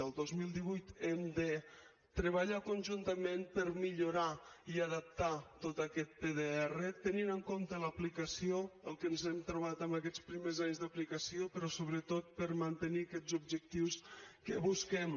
el dos mil divuit hem de treballar conjuntament per millorar i adaptar tot aquest pdr tenint en compte l’aplicació el que ens hem trobat en aquests primers anys d’aplicació però sobretot per mantenir aquests objectius que busquem